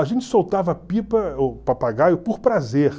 A gente soltava pipa, ou papagaio, por prazer.